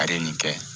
A ye nin kɛ